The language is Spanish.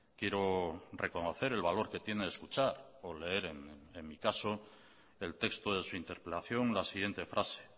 quiero reconocer el valor que tiene escuchar o leer en mi caso el texto de su interpelación la siguiente frase